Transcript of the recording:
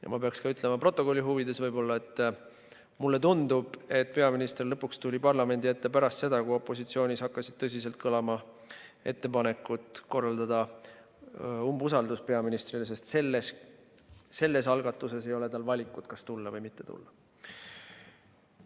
Ja ma pean stenogrammi huvides ütlema ka, et mulle tundub, et peaminister lõpuks tuli parlamendi ette pärast seda, kui opositsioonis hakkasid tõsiselt kõlama ettepanekud korraldada umbusaldusavaldus peaministrile, sest sellise algatuse korral ei ole tal valikut, kas tulla või mitte tulla.